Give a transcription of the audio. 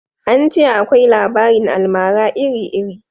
An ce akwai labarin almara iri iri